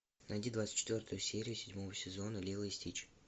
найди двадцать четвертую серию седьмого сезона лило и стич